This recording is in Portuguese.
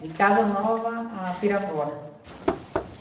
De Casa Nova a Pirapora.